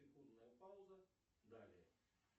секундная пауза далее